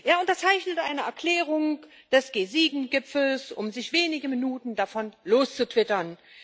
Er unterzeichnet eine Erklärung des G7 Gipfels, um sich wenige Minuten später davon loszutwittern.